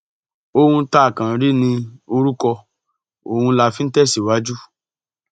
ohun tá a kàn ń rí ní orúkọ ọhún la fi ń tẹsíwájú